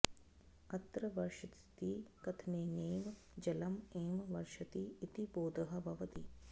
अत्र वर्षतीति कथनेनैव जलम् एव वर्षति इति बोधः भवति